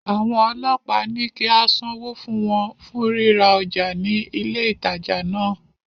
Àwọn ọlọ́pàá ní kí á sanwó fún wọn fún ríra ọjà ní ilé ìtajà náà.